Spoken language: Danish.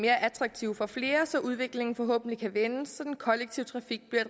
attraktiv for flere så udviklingen forhåbentlig kan vende og så den kollektive trafik bliver